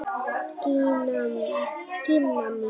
Gína mín!